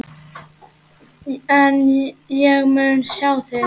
En ég mun sjá þig.